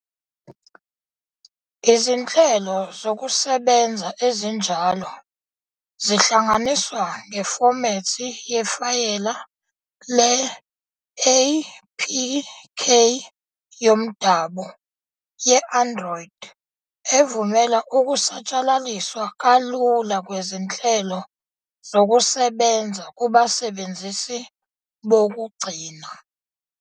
Izinhlelo zokusebenza ezinjalo zihlanganiswa ngefomethi yefayela le-APK yomdabu ye-Android evumela ukusatshalaliswa kalula kwezinhlelo zokusebenza kubasebenzisi bokugcina.